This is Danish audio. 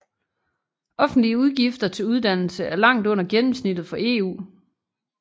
Offentlige udgifter til uddannelse er langt under gennemsnittet for EU